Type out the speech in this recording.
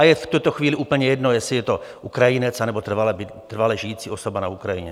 A je v tuto chvíli úplně jedno, jestli je to Ukrajinec, anebo trvale žijící osoba na Ukrajině.